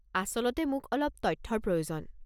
আচলতে মোক অলপ তথ্যৰ প্ৰয়োজন।